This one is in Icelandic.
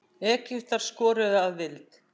Egyptar skoruðu að vild.